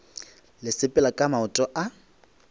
le sepela ka maoto a